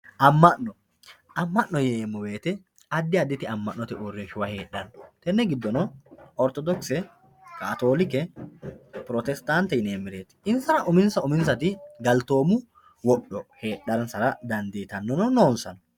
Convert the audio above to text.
amma'no yineemmo wote addi additi amma'note uurrinshuwa heedganno tenne gidono orthodose kaatoolike pirotestaante insara uminsa uminsati galtoomu wodho heedhara dandiitanno noonsano.